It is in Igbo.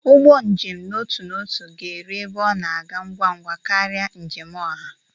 Ụgbọ njem n'otu n'otu ga-eru ebe ọ na-aga ngwa ngwa karịa njem oha.